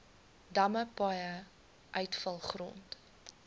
damme paaie uitvalgrond